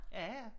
Ja ja